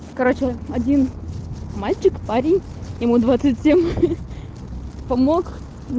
короче один мальчик парень ему двадцать семь помог мне